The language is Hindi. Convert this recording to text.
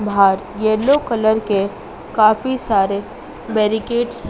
बाहर येलो कलर के काफी सारे बैरिकेट्स --